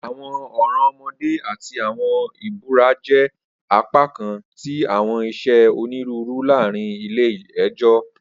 Awọn ọran ọmọde ati awọn ibura jẹ apakan ti awọn iṣe oniruuru laarin ile-ẹjọ.